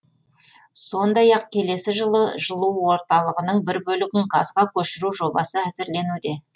сондай ақ келесі жылы жылу орталығының бір бөлігін газға көшіру жобасы әзірленуде